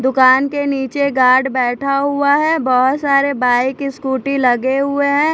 दुकान के नीचे गार्ड बैठा हुआ है बहोत सारे बाइक स्कूटी लगे हुए हैं।